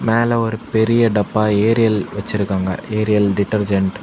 மேல ஒரு பெரிய டப்பா ஏரியல் வச்சிருக்காங்க ஏரியல் டிடர்ஜென்ட் .